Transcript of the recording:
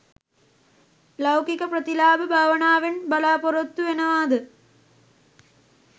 ලෞකික ප්‍රතිලාභ භාවනාවෙන් බලාපොරොත්තු වෙනවාද